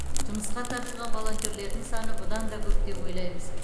жұмысқа тартылған волонтерлердің саны бұдан да көп деп ойлаймыз